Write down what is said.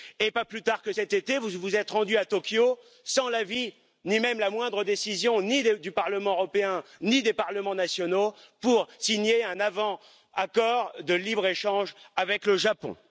Et pas plus tard que cet été, vous vous êtes rendu à Tokyo, sans l'avis ni même la moindre décision, ni du Parlement européen, ni des parlements nationaux, pour signer un avant accord de libre échange avec le Japon.